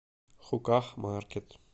хуках маркет